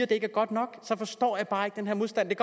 det ikke er godt nok forstår jeg bare ikke den her modstand det